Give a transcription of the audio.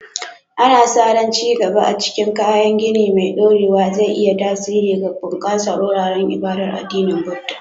Ana sa ran ci gaba a cikin kayan gini mai ɗorewa zai yi tasiri ga bunƙasa wuraren ibadar addinin Buddah.